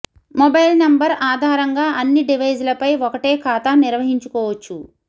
mobile number ఆధారంగా అన్ని device లపై ఒకటే ఖాతా నిర్వహించుకోవచ్చు